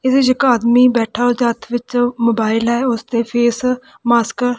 ਇਸ ਦੇਸ਼ ਚ ਇੱਕ ਆਦਮੀ ਬੈਠਾ ਉਹਦੇ ਹੱਥ ਵਿੱਚ ਮੋਬਾਇਲ ਹੈ ਉਸ ਤੇ ਫੇਸ ਮਾਸਕ --